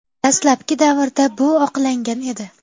Dastlabki davrda bu oqlangan edi.